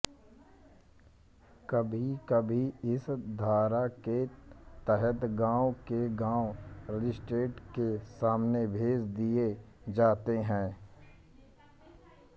कभीकभी इस धारा के तहत गांव के गांव मजिस्ट्रेट के सामने भेज दिए जाते हैं